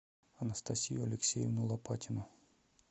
анастасию алексеевну лопатину